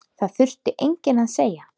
Það þurfti enginn að segja